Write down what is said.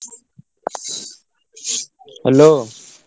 Hello।